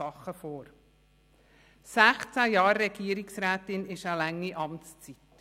Sechzehn Jahre Regierungsrätin ist eine lange Amtszeit.